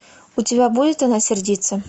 у тебя будет она сердится